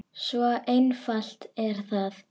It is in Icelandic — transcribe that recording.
Svo einfalt er það!